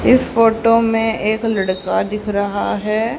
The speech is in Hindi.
इस फोटो में एक लड़का दिख रहा है।